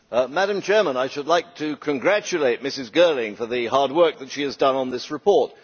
Madam President, I would like to congratulate Ms Girling for the hard work that she has done on this report.